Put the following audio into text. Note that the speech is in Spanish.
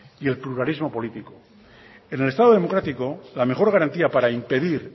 y el pluralismo político en el estado democrático la mejor garantía para impedir